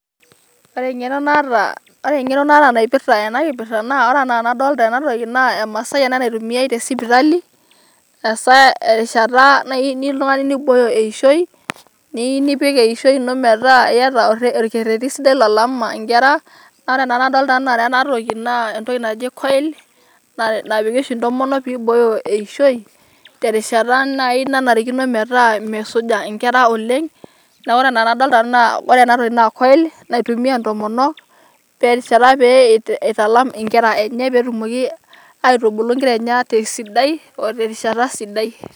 Ore eng'eno naata naipirta ena kipirta naa ore enaa enodoolta ena toki naa emasai ena naitumiai te sipitali ASA teng'ata nayieu oltung'ani neibooyo eishoi niyieu nipik eishoi ino metaa keteta olketerri sidai lolama enkera, ore Nanu enadolita ena toki naa entoki naji Coil CS]napiki oshi intomonok pee ibooyo eishoi terishata naii naanarikino metaa mesuja enkera oleng' naa ore enaa anadolita naa ore ena toki naa Coil naitumia entomonok terishata pee eitalam enkera enye pee etumoki aitubulu enkera enye ata sidai oterishata sidai.